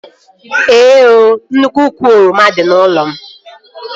Ee ooo, nnukwu úkwù oroma dị n'ụlọ m